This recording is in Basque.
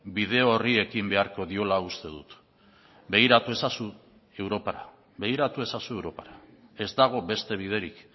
bide horri ekin beharko diola uste dut begiratu ezazu europara begiratu ezazu europara ez dago beste biderik